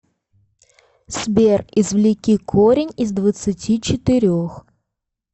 сбер извлеки корень из двадцати четырех